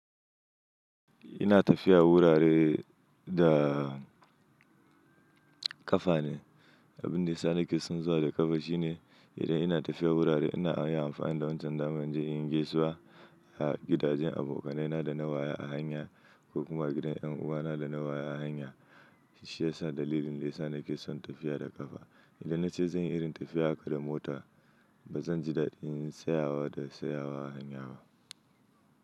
Ina tafiya wurare da ƙafa ne. Abin da ya sa nake son zuwa da ƙafa shine idan ina tafiya wurare ina iya amfani da wancan daman inje inyi gaisuwa a gidajen abokanaina da na waya a hanya ko kuma gidan yan uwana da na waya a hanya. Shi ya sa dalilin da ya sa nake son tafiya da ƙafa. Idan na ce zan yi irin tafiya haka da mota, ba zan ji daɗin tsayawa da tsayawa a hanya ba.